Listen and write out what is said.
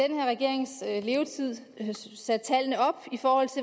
i levetid